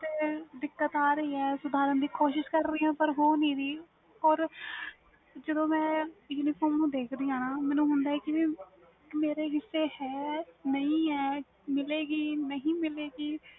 ਤੇ ਦਿਕਤ ਆ ਰਹੀ ਵ ਸੁਧਾਰਨ ਦੀ ਕੋਸਿਸ ਕਰ ਰਹੀ ਆ ਪਰ ਹੋ ਨਹੀਂ ਰਹੀ or ਜਦੋ ਮੈਂ uniform ਦੇਖ ਦੀ ਆ ਮੈਨੂੰ ਹੁੰਦਾ ਵ ਕਿ ਮੇਰੇ ਹਿੱਸੇ ਹੈ ਕ ਨਹੀਂ ਮਿਲੇ ਗੀ ਜਾ ਨਹੀਂ ਮਿਲੇ ਗੀ